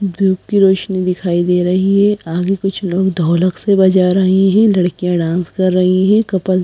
धूप की रोशनी दिखाई दे रही है आगे कुछ लोग ढोलक से बजा रहे हैं लड़कियां डांस कर रही हैं कपल्स --